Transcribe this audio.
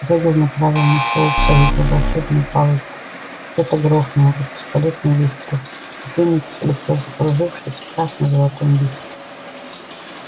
реддл направил на фоукса его волшебную палочку что-то грохнуло как пистолетный выстрел и феникс взлетел закружившись в красно-золотом вихре